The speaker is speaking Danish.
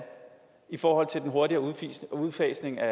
i forhold til den hurtigere udfasning af